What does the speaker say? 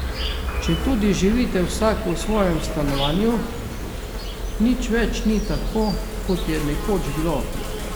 Četudi živite vsak v svojem stanovanju, nič več ni tako, kot je nekoč bilo.